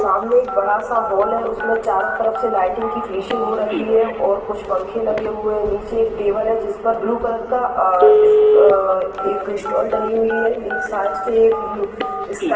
सामने एक बड़ा सा हॉल है | उसमें चारों तरफ से लाइटिंग की फिनिशिंग हो रक्खी है और कुछ पंख लगे हुए हैं | नीचे एक टेबल है | जिस पर ब्लू कलर का आ इस् आ एक स्टॉल डली हुई है | मिक्स से इसका --